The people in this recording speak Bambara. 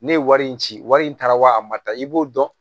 Ne ye wari in ci wari in taara wa a ma taa i b'o dɔn